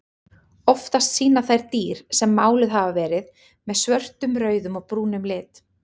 Oftast sýna þær dýr sem máluð hafa verið með svörtum, rauðum og brúnum lit.